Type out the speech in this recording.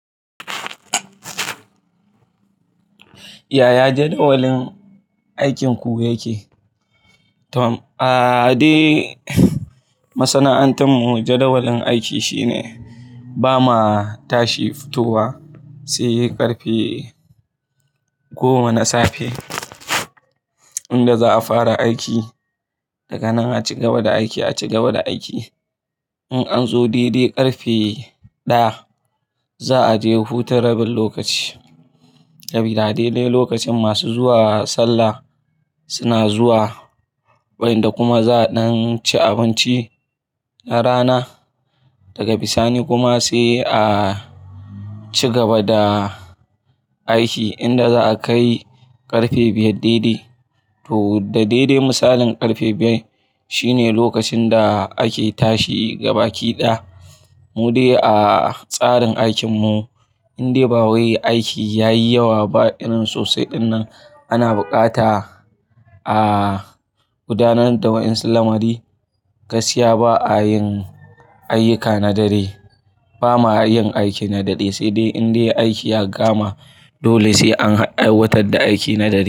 Yaya jadawalin aikinku yake? Tom. Aaa, dai masana'antar mu jadawalin aiki shine bama tashi futowa sai ƙarfe goma na safe, inda za a fara aiki. Daga nan a cigaba da aiki, a cigaba da aiki. In an zo daidai ƙarfe ɗaya, za a je huta rabin lokaci. Sabida a dai dai lokacin masu zuwa sallah suna zuwa, wa'inda kuma za a ɗan ci abinci na rana. Daga bisani kuma sai a cigaba da aiki inda za a kai ƙarfe biyar daidai. To da daidai misalin ƙarfe biyar shine lokacin da ake tashi gabaki ɗaya. Mu dai a tsarin aikin mu indai ba wai aiki yayi yawa ba irin sosai ɗinnan, ana bukata a gudanar da wa'yansu lamari, gaskiya ba a yin ayyuka na dare. Bama yin aiki na dare sai dai indai aiki ya kama dole sai an aiwatar da aiki na dare.